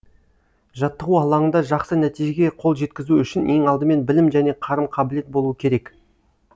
жаттығу алаңында жақсы нәтижеге қол жеткізу үшін ең алдымен білім және қарым қабілет болуы керек